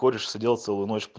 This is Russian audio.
кореш сидел целую ночь